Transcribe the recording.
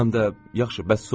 Həm də yaxşı, bəs sonra?